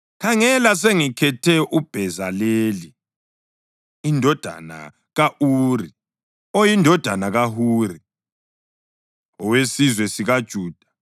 “Khangela, sengikhethe uBhezaleli indodana ka-Uri oyindodana kaHuri owesizwe sikaJuda